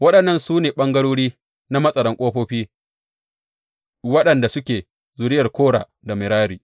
Waɗannan su ne ɓangarori na matsaran ƙofofi waɗanda suke zuriyar Kora da Merari.